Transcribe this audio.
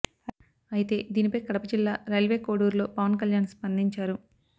అయితే దీనిపై కడప జిల్లా రైల్వే కోడూరులో పవన్ కళ్యాణ్ స్పందించారు